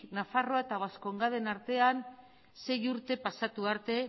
nafarroa eta baskongaden artean sei urte pasatu arte